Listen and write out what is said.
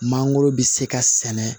Mangoro bɛ se ka sɛnɛ